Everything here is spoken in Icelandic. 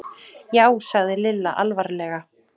Já sagði Lilla alvarlega.